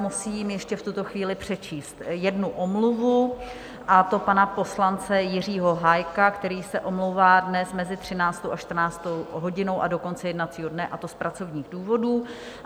Musím ještě v tuto chvíli přečíst jednu omluvu, a to pana poslance Jiřího Hájka, který se omlouvá dnes mezi 13. a 14. hodinou a do konce jednacího dne, a to z pracovních důvodů.